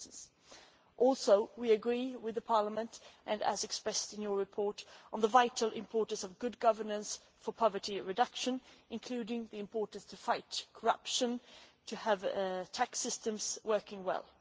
We also agree with Parliament, as expressed in your report, on the vital importance of good governance for poverty reduction, including the importance of fighting corruption and having tax systems working well.